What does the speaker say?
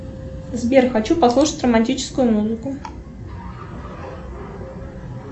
сбер хочу послушать романтическую музыку